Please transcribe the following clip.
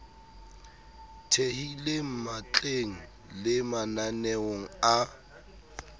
thehileng matleng le mananeong a